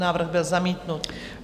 Návrh byl zamítnut.